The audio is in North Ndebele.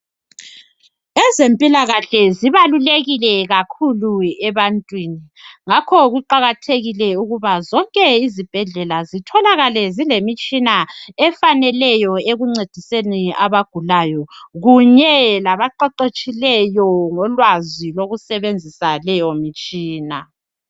Ezempilakahle zibalulekile kakhulu ebantwini. Ngakho kubalulekile ukuba zonke izibhedlela zitholakale zilemitshina efaneleyo ekuncediseni abagulayo kunye labaqeqetshileyo ngolwazi lokusebenzisa leyo mitshina.